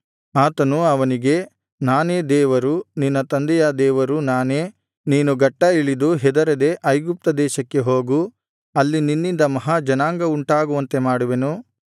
ಆತನು ಅವನಿಗೆ ನಾನೇ ದೇವರು ನಿನ್ನ ತಂದೆಯ ದೇವರು ನಾನೇ ನೀನು ಗಟ್ಟಾ ಇಳಿದು ಹೆದರದೆ ಐಗುಪ್ತ ದೇಶಕ್ಕೆ ಹೋಗು ಅಲ್ಲಿ ನಿನ್ನಿಂದ ಮಹಾ ಜನಾಂಗವುಂಟಾಗುವಂತೆ ಮಾಡುವೆನು